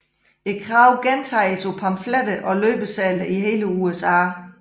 Kravene gentages på pamfletter og løbesedler i hele USA